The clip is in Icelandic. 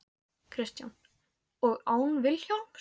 Kristján: Og án Vilhjálms?